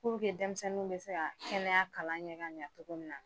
Puruke denmisɛnninw bɛ se ka kɛnɛya kalan kɛ ka ɲa cogo min na.